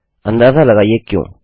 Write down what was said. अंदाज़ा लगाइए क्यों